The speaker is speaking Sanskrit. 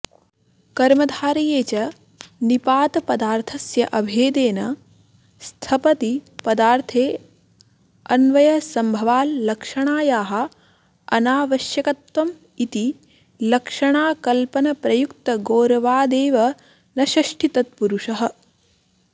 कर्मधारये च निषादपदार्थस्य अभेदेन स्थपति पदार्थेऽन्वयसम्भवाल्लक्षणायाः अनावश्यकत्वमिति लक्षणाकल्पनप्रयुक्तगौरवादेव न षष्ठीतत्पुरुषः